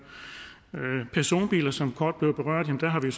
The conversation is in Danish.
personbiler som kort blev berørt har vi